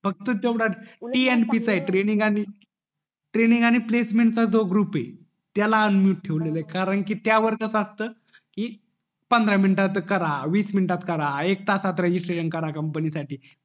फक्त तेवढं tnp चा ये ट्रेनिन्ग आणि प्लेसमेंट चा जो ग्रुप ये त्याला unmute ठेवलेलं ये कारण कि त्यावर कस असत कि पंधरा मिनिटा च करा वीस मिनिटात करा एक तासात रेजिस्टरिंग करा कंपनी साठी